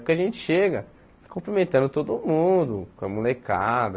Porque a gente chega cumprimentando todo mundo, com a molecada.